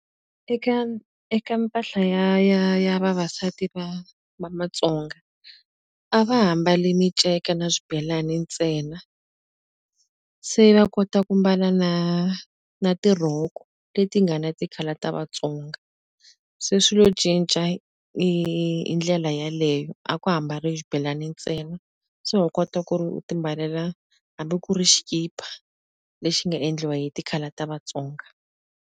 Eka eka mpahla ya ya ya vavasati va va matsonga a va ha mbali minceka na swibelani ntsena se va kota ku mbala na na tirhoko leti nga na ti-colour ta Vatsonga se swilo cinca i i ndlela yaleyo a ka ha mbariwi xibelani ntsena se u kota ku ri u ti mbalela hambi ku ri xikipa lexi nga endliwa hi ti-colour ta Vatsonga.